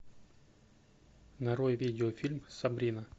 нарой видео фильм сабрина